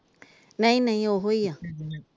ਨਹੀਂ ਨਹੀਂ ਉਹੋ ਈ ਆ ।